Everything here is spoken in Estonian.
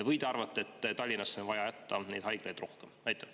Või arvate, et Tallinnasse on vaja jätta rohkem haiglaid?